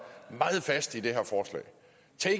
meget fast i det